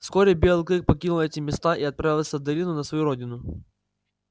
вскоре белый клык покинул эти места и отправился в долину на свою родину